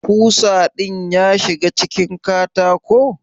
Kusa din ya shiga cikin katako?